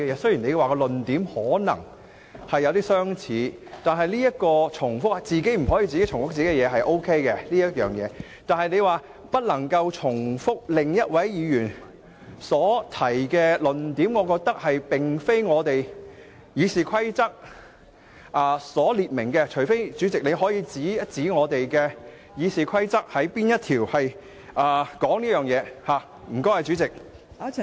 雖然你說論點可能有相似——對於不能重複自己的論點，我認為是可以，但對於你指不能重複另一位議員所提出的論點，我認為這並非《議事規則》的規定，除非代理主席可以指出是哪一項《議事規則》有這規定，多謝代理主席。